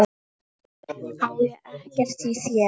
Ég á ekkert í þér!